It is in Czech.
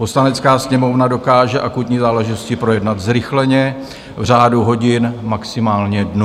Poslanecká sněmovna dokáže akutní záležitosti projednat zrychleně v řádu hodin, maximálně dnů.